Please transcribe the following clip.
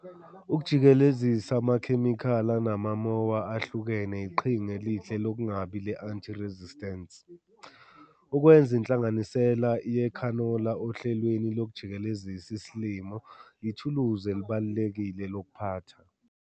Ukujikelezisa amakhemikhali anama-moa ahlukene iqhinga elihle lokungabi le-anti-resistence, ukwenza inhlanganisela ye-khanola ohlelweni lokujikelezisa isilimo yithuluzi elibalulekile lokuphatha.